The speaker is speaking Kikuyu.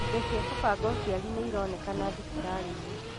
Indo cia gũbanga ũciari nĩironekana thibitarĩ-inĩ